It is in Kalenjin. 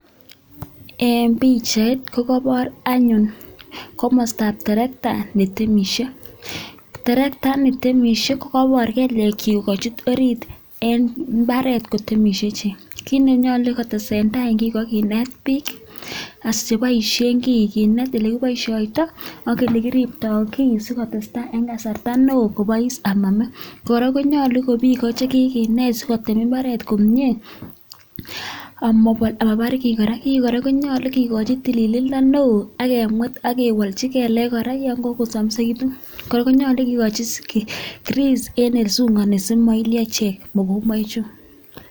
En pichait ko kabor anyun komastab tirekta ne timishe, tirekta ne timishe ko kabor kelyekchich kochut orit en mbaret kotimishe chi, kiit ne nyolu kotesei eng' tai ko kinet biik asiboishe kii, kinet ile kiboishoito ak ile kiribtoi kii sikotestai eng' kasarta neoo kubois amame. Kora konyolu kobi koche biik kinet sikotil mbaret komie amabar kii kora, kii kora konyolu kikochi tililindo neoo akemwet, akewalji kelek kora yen kakosamsakitun kora konyalu kekochi grease eng' ole sungukani sima ilio ichek mokombaichu.